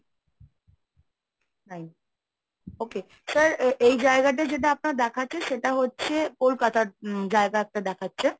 nine okay, sir এ~ এই জায়গাটা যেটা আপনার দেখাচ্ছে সেটা হচ্ছে কলকাতার উম জায়গা একটা দেখাচ্ছে।